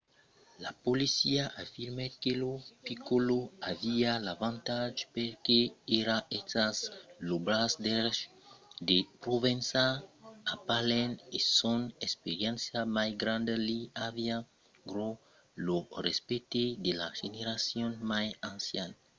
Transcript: la polícia afirmèt que lo piccolo aviá l'avantatge perque èra estat lo braç drech de provenzano a palèrm e son experiéncia mai granda li aviá ganhat lo respècte de la generacion mai anciana dels caps estent que seguissián la politica de provenzano de gardar un perfil tan bas coma èra possible mentre que consolidava sa ret de poder